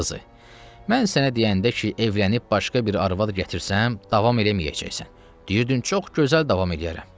Əmi qızı, mən sənə deyəndə ki, evlənib başqa bir arvad gətirsəm, davam eləməyəcəksən, deyirdin çox gözəl davam eləyərəm.